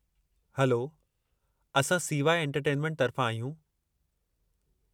Hello, असां CY entertainment तर्फ़ां आहियूं।